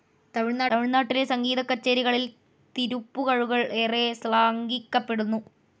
തമിഴ്നാട്ടിലെ സംഗീതക്കച്ചേരികളിൽ തിരുപ്പുകഴുകൾ ഏറെ ശ്ലാഘിക്കപ്പെടുന്നു.